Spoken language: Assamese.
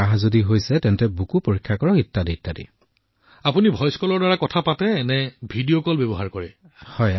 প্ৰধানমন্ত্ৰীঃ আপুনি ভইচ কলৰ জৰিয়তে কথা পাতে নে আপুনি ভিডিঅ কলও ব্যৱহাৰ কৰে